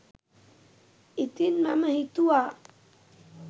ඉතිං මම හිතුවා